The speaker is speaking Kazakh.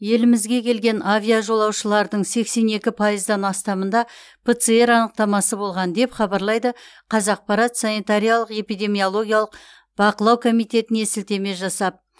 елімізге келген авиажолаушылардың сексен екі пайыздан астамында пцр анықтамасы болған деп хабарлайды қазақпарат санитариялық эпидемиологиялық бақылау комитетіне сілтеме жасап